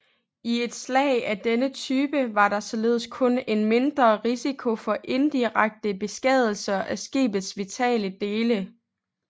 I et slag af denne type var der således kun en mindre risiko for indirekte beskadigelser af skibets vitale dele